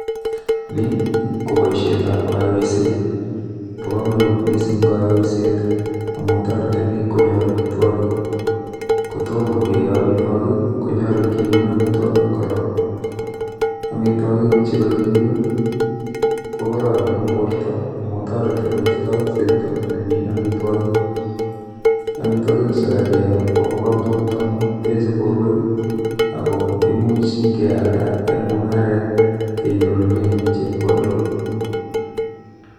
Nii koboishen tab konyoiset bo komonut missing konyoiset tii amun toreti bik konyor omitwokik, kotomo keyo omitwokik konyolu kiun omitwokik korong. Omitwokik chekokiun ko kororon en borto amun toreti koisto simdo nemii en omitwokik, omitwokik chekakiyo Kobo komonut amun teche borwek akoo imuch kealda en mungaret kenyorune chepkondok.